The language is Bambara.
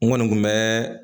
N kɔni kun bɛ